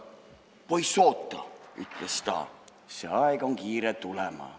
"Poiss, oota," ütles ta, "see aeg on kiire tulema.